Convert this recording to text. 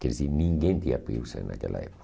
Quer dizer, ninguém tinha piercing naquela